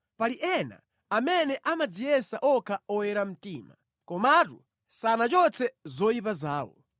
Pali ena amene amadziyesa okha oyera mtima komatu sanachotse zoyipa zawo.